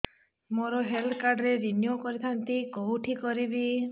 ମୋର health card renew କରିଥାନ୍ତି କୋଉଠି କରିବି